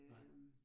Nej